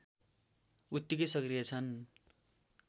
उत्तिकै सक्रिय छन्